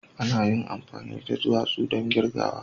Ana iya amfani da duwatsu don kirgawa